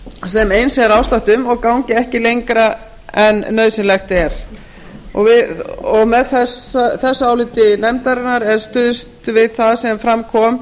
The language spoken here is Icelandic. sem eins er ástatt um og gangi ekki lengra en nauðsynlegt er með þessu áliti nefndarinnar er stuðst við það sem fram kom